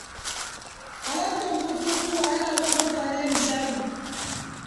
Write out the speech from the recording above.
Halartar bukukuwa yana ba mutane nishadi.